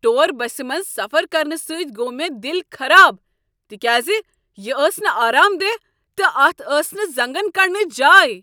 Tour بسہ منز سفر کرنہٕ سۭتۍ گوٚو مےٚ دل خراب تکیاز یہ ٲس نہٕ آرام دہ تہٕ اتھ ٲس نہٕ زنگن کڈنچ جایی۔